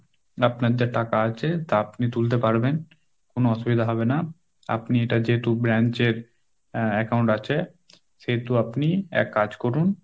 আপনাদের টাকা আছে তা আপনি তুলতে পারবেন কোন অসুবিধা হবে না, আপনি এটা যেহেতু branchএর আহ Account আছে, সেহেতু আপনি এক কাজ করুন